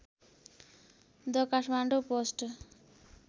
the Kathmandu post